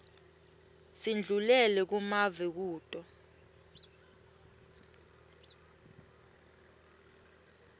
sindlulele kumave kuto